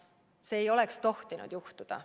See ei oleks tohtinud juhtuda.